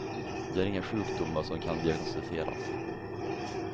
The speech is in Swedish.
De har inga sjukdomar som kan diagnostiseras.